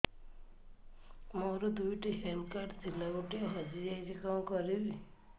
ମୋର ଦୁଇଟି health card ଥିଲା ଗୋଟିଏ ହଜି ଯାଇଛି କଣ କରିବି